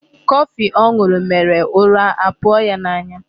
Coffee ọ ṅụrụ mèrè ụra apụọ ya n'anya.